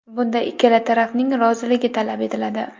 Bunda ikkala tarafning roziligi talab etiladi.